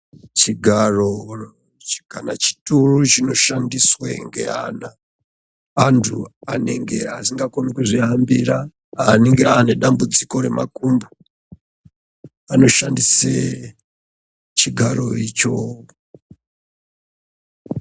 Chigaro kana chituru chinoshandiswa ngeqna antu asingakoni kudzihambira anenge ane dambudziko remakumbo anoshandisa chigaro icho.